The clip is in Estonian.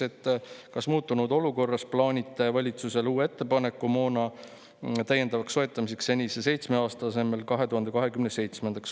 Ja teiseks, kas muutunud olukorras plaanite teha valitsusele uue ettepaneku moona täiendavaks soetamiseks senise seitsme aasta asemel 2027. aastaks?